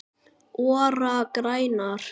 ORA grænar